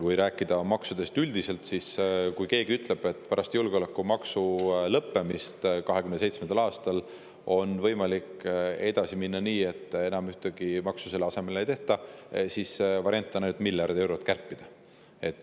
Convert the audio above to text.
Kui rääkida maksudest üldiselt, siis kui keegi ütleb, et pärast julgeolekumaksu lõppemist 2027. aastal on võimalik edasi minna nii, et ühtegi maksu selle asemele ei tehta, siis variant on miljard eurot kärpida.